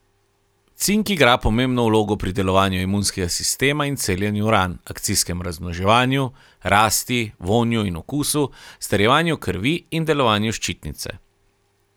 Cink igra pomembno vlogo pri delovanju imunskega sistema in celjenju ran, akcijskem razmnoževanju, rasti, vonju in okusu, strjevanju krvi in delovanju ščitnice.